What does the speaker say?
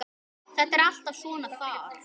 Þetta er alltaf svona þar.